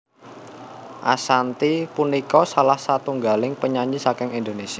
Ashanty punika salah setunggaling penyanyi saking Indonésia